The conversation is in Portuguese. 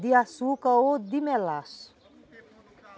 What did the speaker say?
de açúcar ou de melaço.